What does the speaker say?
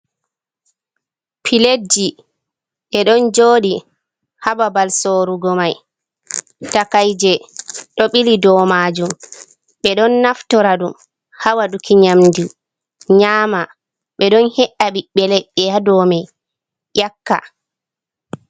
Piletji ɗe ɗon jooɗi haa babal sorugo may, takay je ɗo ɓili dow maajum, ɓe ɗon naftora ɗum haa waɗuki nyamndu nyaama, ɓe ɗon he’a ɓiɓɓe leɗɗe dow may ƴakka.